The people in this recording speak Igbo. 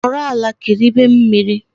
Nọrọ ala kiribe mmiri